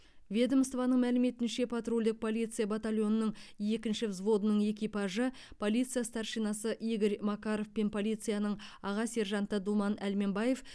ведомствоның мәліметінше патрульдік полиция батальонының екінші взводының экипажы полиция старшинасы игорь макаров пен полицияның аға сержанты думан әлменбаев